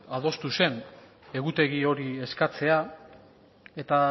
adostu zen egutegi hori eskatzea eta